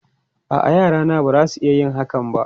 A'a, yarana ba za su iya yin hakan ba.